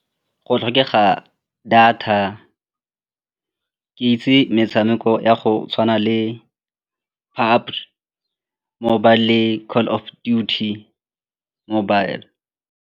Go tlhokega data, ke itse metshameko ya go tshwana le mobile le Call of Duty mobile.